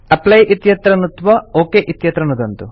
apply इत्यत्र नुत्त्वा ओक इत्यत्र नुदन्तु